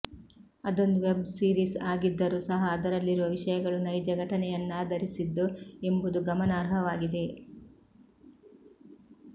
ಅದೊಂದು web series ಆಗಿದ್ದರೂ ಸಹ ಅದರಲ್ಲಿರುವ ವಿಷಯಗಳು ನೈಜ ಘಟನೆಯನ್ನಾಧರಿಸಿದ್ದು ಎಂಬುದು ಗಮನಾರ್ಹವಾಗಿದೆ